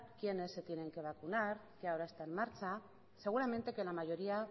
quiénes se tienen que vacunar que ahora está en marcha seguramente que la mayoría